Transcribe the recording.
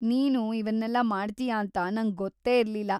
ನೀನು ಇವನ್ನೆಲ್ಲ ಮಾಡ್ತೀಯಾ ಅಂತ ನಂಗೆ ಗೊತ್ತೇ ಇರ್ಲಿಲ್ಲ.